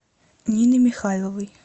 нины михайловой